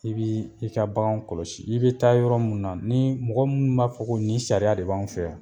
I b'i ka baganw kɔlɔsi i bɛ taa yɔrɔ minnu ni mɔgɔ minnu b'a fɔ ko nin sariya de b'anw fɛ yan.